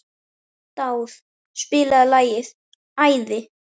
Dáð, spilaðu lagið „Æði“.